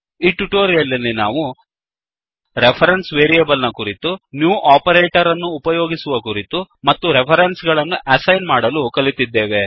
ಈ ಟ್ಯುಟೋರಿಯಲ್ ನಲ್ಲಿ ನಾವು ರೆಫರೆನ್ಸ್ ವೇರಿಯೇಬಲ್ ನ ಕುರಿತು ನ್ಯೂ ಓಪರೇಟರ್ ಅನ್ನು ಉಪಯೋಗಿಸುವ ಕುರಿತು ಮತ್ತು ರೆಫರೆನ್ಸ್ ಗಳನ್ನು ಅಸೈನ್ ಮಾಡಲು ಕಲಿತಿದ್ದೇವೆ